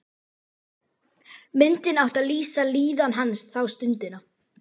Myndin átti að lýsa líðan hans þá stundina.